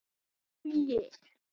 Ó je.